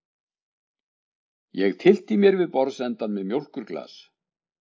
Ég tyllti mér við borðsendann með mjólkurglas.